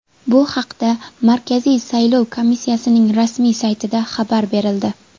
Bu haqda Markaziy saylov komissiyasining rasmiy saytida xabar berildi .